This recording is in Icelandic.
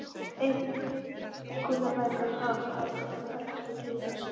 Einkunnabækur Páls og Halldórs voru heldur ekkert til að sýna.